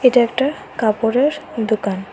এটা একটা কাপড়ের দোকান।